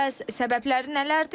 Bəs səbəbləri nələrdir?